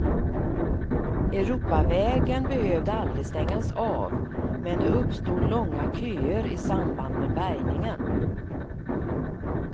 Europavägen behövde aldrig stängas av, men det uppstod långa köer i samband med bärgningen.